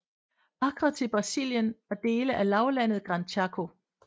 Acre til Brasilien og dele af lavlandet Gran Chaco